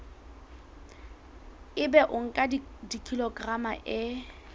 ebe o nka kilograma e